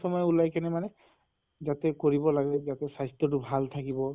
চময় ওলাই কিনে মানে যাতে কৰিব লাগে যাতে স্বাস্থ্য়টো ভাল থাকিব।